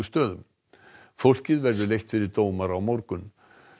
stöðum fólkið verður leitt fyrir dómara á morgun